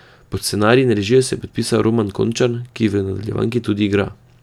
Pod scenarij in režijo se je podpisal Roman Končar, ki v nadaljevanki tudi igra.